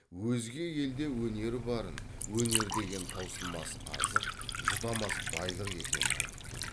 өзге елде өнері барын енер деген таусылмас азық жұтамас байлық екенін айтып кеп